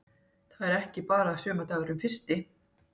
Það er ekki bara sumardagurinn fyrsti.